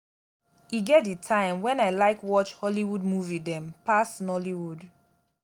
e get di time wen i like watch hollywood movie dem pass nollywood.